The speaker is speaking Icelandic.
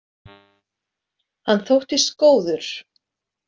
Hann þóttist góður.